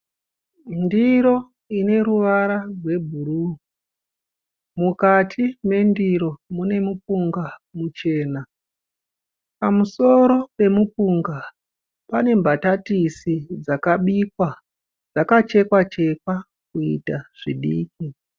Ndiro ine ruvara rwebhuruu mukati mendiro mune mupunga muchena pamusoro pemupunga pane mbatatisi dzakabikwa dzakachekwa chekwa kuita zvidiki.